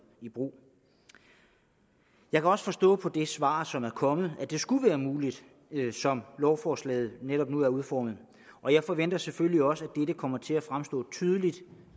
i brug jeg kan også forstå på det svar som er kommet at det skulle være muligt som lovforslaget netop nu er udformet og jeg forventer selvfølgelig også at dette kommer til at fremstå tydeligt